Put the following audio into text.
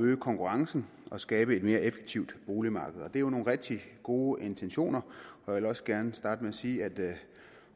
øge konkurrencen og skabe et mere effektivt boligmarked det er jo nogle rigtig gode intentioner og jeg vil også gerne starte med at sige at